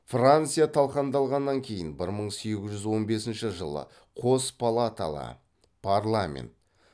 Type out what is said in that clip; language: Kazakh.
франция талқандалғаннан кейіін бір мың сегіз жүз он бесінші жылы қос палаталы парламент